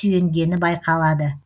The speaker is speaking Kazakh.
сүйенгені байқалады